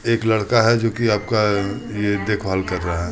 एक लड़का है जो कि आपका ये देखभाल कर रहा है।